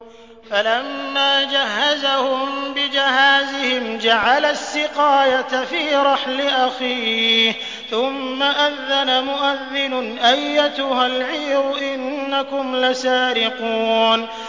فَلَمَّا جَهَّزَهُم بِجَهَازِهِمْ جَعَلَ السِّقَايَةَ فِي رَحْلِ أَخِيهِ ثُمَّ أَذَّنَ مُؤَذِّنٌ أَيَّتُهَا الْعِيرُ إِنَّكُمْ لَسَارِقُونَ